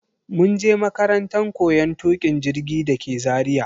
mun je makarantan koyon tukin jirgi dake Zaria.